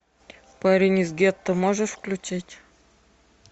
парень из гетто можешь включить